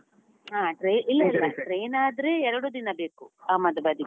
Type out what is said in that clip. ಹ train ಇಲ್ಲ ಇಲ್ಲ train ಆದ್ರೆ ಎರಡು ದಿನ ಬೇಕು, ಅಹಮದಾಬಾದ್ಗೆ.